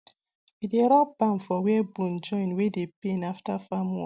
we dey rub balm for where bone join wey dey pain after farm work